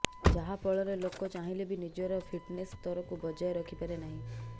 ଯାହା ଫଳରେ ଲୋକ ଚାହିଁଲେ ବି ନିଜର ଫିଟନେସ୍ ସ୍ତରକୁ ବଜାୟ ରଖିପାରେ ନାହିଁ